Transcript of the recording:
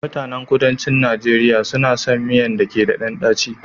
Mutanen kuduncin Nigeria suna son miyan da ke ɗan daci